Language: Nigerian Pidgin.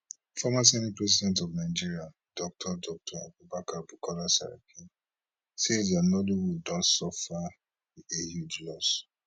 former senate president of nigeria dr dr abubakar bukola saraki say di nollywood don suffer a huge loss